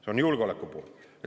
See on julgeoleku pool.